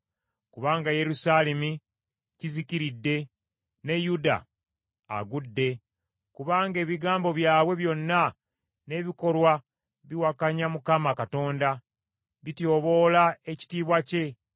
Kubanga Yerusaalemi kizikiridde ne Yuda agudde! Kubanga ebigambo byabwe byonna n’ebikolwa biwakanya Mukama Katonda, bityoboola ekitiibwa kye.